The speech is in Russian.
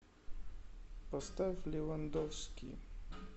поставь левандовски